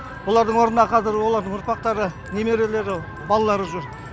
олардың орнына қазір олардың ұрпақтары немерелері балалары жүр